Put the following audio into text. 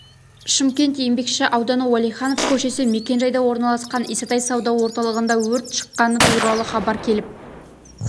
шымкент еңбекші ауданы уәлиханов көшесі мекен-жайда орналасқан исатай сауда орталығында өрт шыққаны туралы хабар келіп